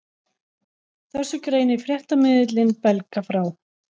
Þessu greinir fréttamiðillinn Belga frá